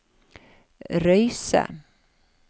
Røyse